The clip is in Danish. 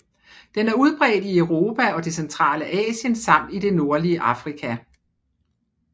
Den er udbredt i Europa og det centrale Asien samt i det nordlige Afrika